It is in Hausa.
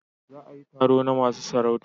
Za a yi taro na masu sarauta